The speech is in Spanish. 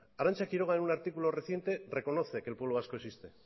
arantza quiroga en un artículo reciente reconoce que el pueblo vasco existe